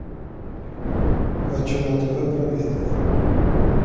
хочу на тв про бизнес